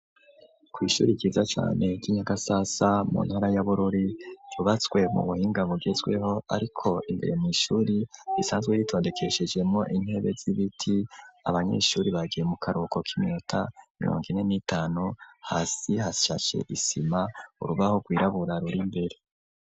Kw'ishuri ryiza cane, ry'i Nyagasasa, mu ntara ya Bururi, ryubatswe mu buhinga, mugezweho, ariko imberemw'ishuri, risazwe ritondekeshejemwo, intebe z'ibiti; abanyeshuri, bagiye mu karuhuko, k'iminota mirongo ine n'itanu; hasi hashashe isima, urubaho rwirabura, ruri imbere.